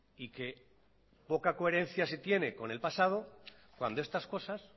y que poca coherencia se tiene con el pasado cuando estas cosas